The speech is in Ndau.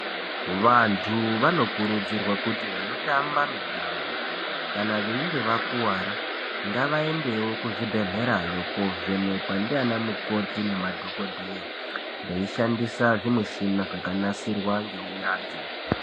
Vantu vanokurudzirwa kuti vanotamba mitambo kana veinge vakuwara ngavaendewo kuzvibhehlera yo kovhenekwa ndianamukoti nemadhokodheya veishandisa zvimimichina zvakanasirwa ngeunyanzvi.